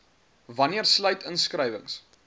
wanneer sluit inskrywings